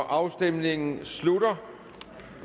afstemningen slutter